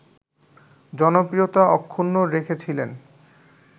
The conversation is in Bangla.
জনপ্রিয়তা অক্ষুণ্ন রেখেছিলেন